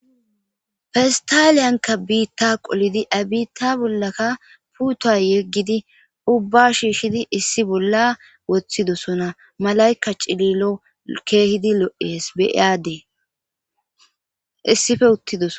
Fistaliyanka biitta qolidi abiitta bollakka puuta yeggidi ubba shiishshidi issi bolla woththidosona malayka cililo keehidi lo7ees beyaadee issife uttidos.